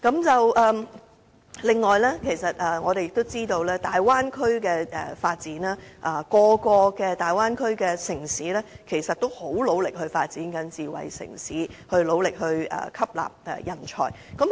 此外，我們也知道，在大灣區的發展中，大灣區內每一個城市也很努力地發展智慧城市及吸納人才。